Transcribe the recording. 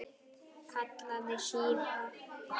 kallaði síra Björn.